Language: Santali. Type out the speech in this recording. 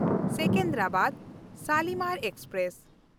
ᱥᱮᱠᱮᱱᱫᱨᱟᱵᱟᱫ–ᱥᱟᱞᱤᱢᱟᱨ ᱮᱠᱥᱯᱨᱮᱥ